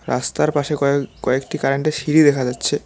রাস্তার পাশে কয়েক-কয়েকটি কারেন্টের সিঁড়ি দেখা যাচ্ছে।